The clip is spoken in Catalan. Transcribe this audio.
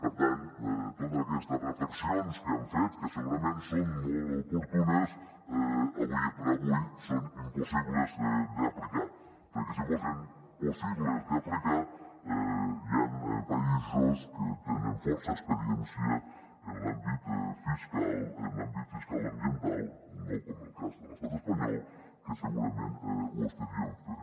per tant totes aquestes reflexions que han fet que segurament són molt oportunes ara per ara són impossibles d’aplicar perquè si fossen possibles d’aplicar hi han països que tenen força experiència en l’àmbit fiscal en l’àmbit fiscal ambiental no com el cas de l’estat espanyol que segurament ho estarien fent